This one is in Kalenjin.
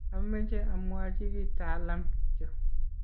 ameche amwochi kiy Talam kityo